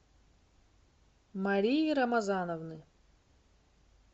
марии рамазановны